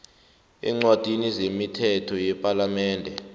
eencwadini zemithetho yepalamende